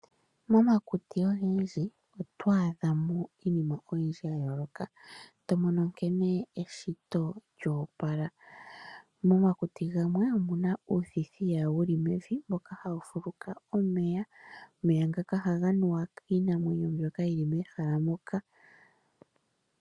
Momakuti ogendji oto adha mo iinima oyindji ya yooloka, to mono nkene eshito lyoopala. Momakuti gamwe omuna uuthithiya wu li mevi mboka ha wu fuluka omeya. Omeya ngaka oha ga nuwa kiinamwenyo mbyoka yi li mehala moka.